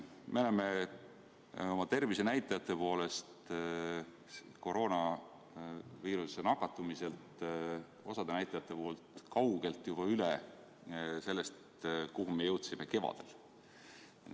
Me oleme oma tervisenäitajate poolest koroonaviirusesse nakatumisel osa näitajate puhul kaugelt üle sellest, kuhu me jõudsime kevadel.